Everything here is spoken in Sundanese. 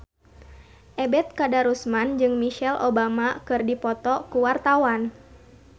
Ebet Kadarusman jeung Michelle Obama keur dipoto ku wartawan